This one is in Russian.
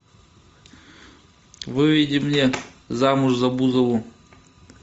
выведи мне замуж за бузову